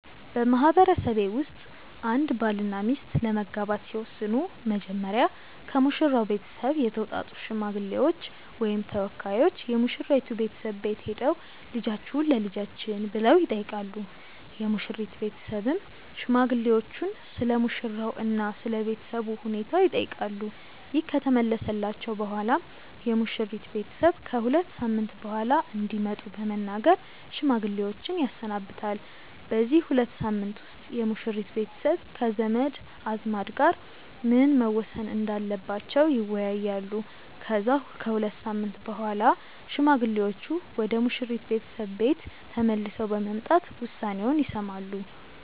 በማህበረሰቤ ውስጥ አንድ ባልና ሚስት ለመጋባት ሲወስኑ መጀመሪያ ከሙሽራው ቤተሰብ የተውጣጡ ሽማግሌዎች ወይም ተወካዮች የሙሽራይቱ ቤተሰብ ቤት ሄደው "ልጃችሁን ለልጃችን" ብለው ይጠይቃሉ። የሙሽሪት ቤተሰብም ሽማግሌዎቹን ስለሙሽራው እና ስለ ቤተሰቡ ሁኔታ ይጠይቃሉ። ይህ ከተመለሰላቸው በኋላም የሙሽሪት ቤተሰብ ከ ሁለት ሳምንት በኋላ እንዲመጡ በመናገር ሽማግሌዎችን ያሰናብታል። በዚህ ሁለት ሳምንት ውስጥ የሙሽሪት ቤተሰብ ከዘመድ አዝማድ ጋር ምን መወሰን እንዳለባቸው ይወያያሉ። ከዛ ከሁለት ሳምንት በኋላ ሽማግሌዎቹ ወደ ሙሽሪት ቤተሰብ ቤት ተመልሰው በመምጣት ውሳኔውን ይሰማሉ።